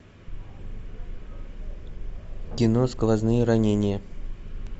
кино сквозные ранения